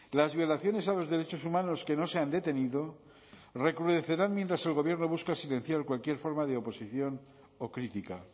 las violaciones a los derechos humanos que no se han detenido recrudecerán mientras el gobierno busca silenciar cualquier forma de oposición o crítica